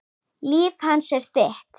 Líf hans er þitt.